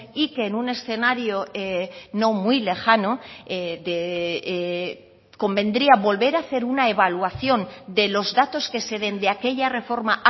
y que en un escenario no muy lejano convendría volver a hacer una evaluación de los datos que se den de aquella reforma